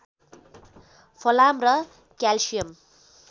फलाम र क्याल्सियम